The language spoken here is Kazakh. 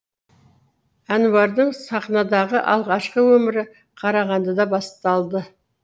әнуардың сахнадағы алғашқы өмірі қарағандыда басталды